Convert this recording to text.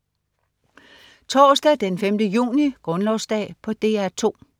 Torsdag den 5. juni - Grundlovsdag - DR 2: